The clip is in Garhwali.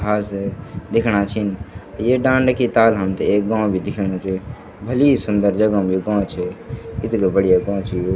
घास है दिखणा छिन ये डांडा की ताल हमते एक गों भी दिखेणु च भली सुन्दर जगह मा यो गों च इत्गा बढ़िया गों च यु।